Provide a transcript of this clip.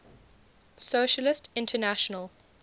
socialist international